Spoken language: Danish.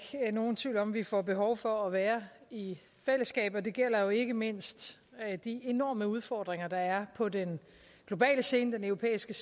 nogen tvivl om vi får behov for at være i fællesskab og det gælder jo ikke mindst de enorme udfordringer der er på den globale scene den europæiske